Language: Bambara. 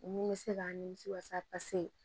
Ni bɛ se ka nimisi wasa pase